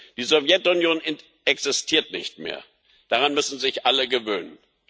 Die Sowjetunion existiert nicht mehr, daran müssen sich alle gewöhnen.